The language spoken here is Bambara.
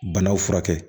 Banaw furakɛ